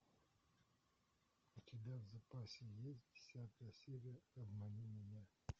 у тебя в запасе есть десятая серия обмани меня